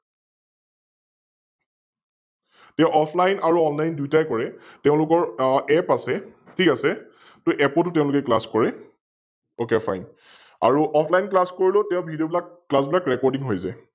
তেও Offline আৰু Online দুইটাই কৰে, তেওলোকৰ App আছে, ঠিক আছে, আৰু App তটো তেওলোকে Class কৰে, OkFine আৰু OfflineClass কৰিলেও Video বিলাক Class বিলাক Recording হৈ যায় ।